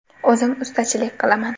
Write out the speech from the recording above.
O‘zim ustachilik qilaman.